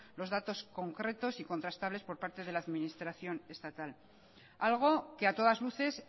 los datos concretos y contrastables por parte de la administración estatal algo que a todas luces